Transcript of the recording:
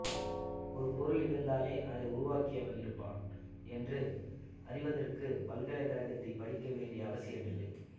ஒரு பொருள் இருந்தாலே அதை உருவாக்கியவன் இருப்பான் என்று அறிவதற்க்கு பல்கலைகழகத்தில் படிக்க வேண்டிய அவசியம் இல்லை